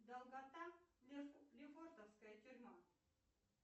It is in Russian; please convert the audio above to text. долгота лефортовская тюрьма